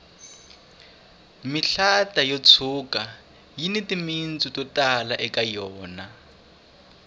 mihlata yo tshuka yini timitsu to tala eka yona